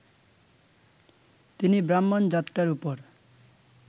তিনি ব্রাহ্মণ জাতটার ওপর